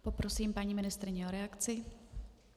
Poprosím paní ministryni o reakci.